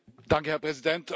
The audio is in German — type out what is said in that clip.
Herr Präsident!